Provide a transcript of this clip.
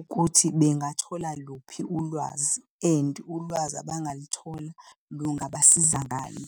ukuthi bengathola luphi ulwazi, and ulwazi abangaluthola lungabasiza ngani.